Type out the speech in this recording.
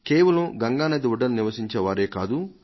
కేవలం గంగా నది ఒడ్డున నివసించేవారే కాదు